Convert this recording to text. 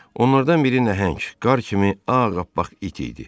Onlardan biri nəhəng, qar kimi ağappaq it idi.